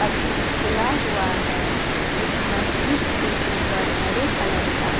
अभी खुला हुआ है। इस मस्जिद के ऊपर हरे कलर का --